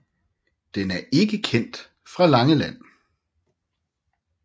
Den er ikke kendt fra Langeland